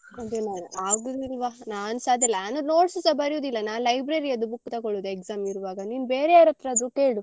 ಅದೇ ಮಾರ್ರೆ ಆಗುದಿಲ್ವ ನಾನ್ಸ ಅದೇ ನಾನ್ notes ಸ ಬರಿಯುದಿಲ್ಲ ನಾನ್ library ಅದ್ದು book ತೊಗೊಳುದು exam ಇರುವಾಗ ನೀನ್ ಬೇರೆ ಯಾರತ್ರಾದ್ರು ಕೇಳು.